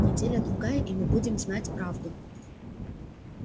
неделя-другая и мы будем знать правду